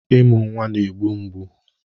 Ịmụ nwa na-egbu mgbu